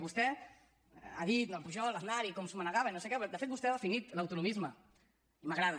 vostè ha dit pujol aznar i com s’ho manegaven i no sé què però de fet vostè ha definit l’autonomisme i m’agrada